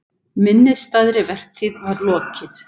Minnisstæðri vertíð var lokið.